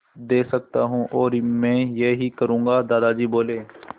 दे सकता हूँ और मैं यही करूँगा दादाजी बोले